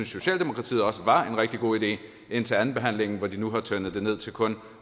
socialdemokratiet også var en rigtig god idé indtil andenbehandlingen hvor de nu har fortyndet det til kun